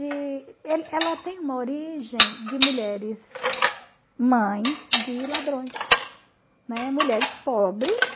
Ela tem uma origem de mulheres mães de ladrões, né, mulheres pobres.